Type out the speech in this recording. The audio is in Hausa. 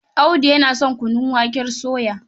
Audu yana son kunun waken soya.